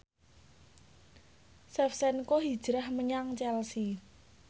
Shevchenko hijrah menyang Chelsea